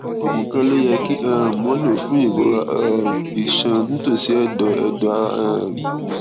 oògùn kan ló yẹ kí um wón lò fún ìrora um iṣan nítòsí èdọ èdọ ara um